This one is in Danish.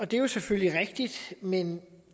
det er selvfølgelig rigtigt men